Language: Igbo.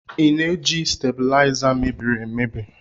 I na-eji stabuliza mebiri emebi?